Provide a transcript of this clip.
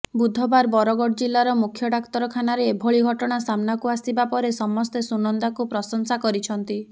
ବୁଧବାର ବରଗଡ ଜିଲ୍ଲାର ମୁଖ୍ୟ ଡାକ୍ତରଖାନାରେ ଏଭଳି ଘଟଣା ସାମ୍ନାକୁ ଆସିବା ପରେ ସମସ୍ତେ ସୁନନ୍ଦାକୁ ପ୍ରଶଂସା କରିଛନ୍ତି